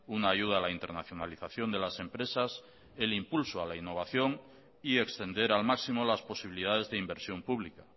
una ayuda a la internacionalización de las empresas el impulso a la innovación y extender al máximo las posibilidades de inversión pública